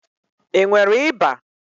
I nwere ịba?